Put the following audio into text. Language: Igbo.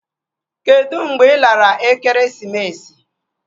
Kedụ mgbe ị lara ekeresimesi?